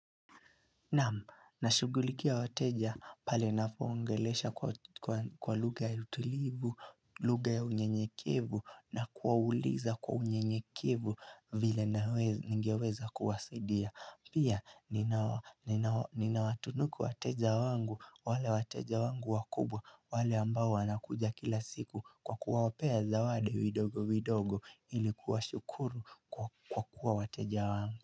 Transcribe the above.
Naam, nashugulikia wateja pale napoongelesha kwa lugha ya utulivu, lugha ya unyenyekevu, na kuwauliza kwa unyenyekevu vile ningeweza kuwasaidia. Pia, nina watunuku wateja wangu, wale wateja wangu wakubwa, wale ambao wanakuja kila siku kwa kuwapea zawadi vidogo vidogo ili kuwashukuru kwa kuwa wateja wangu.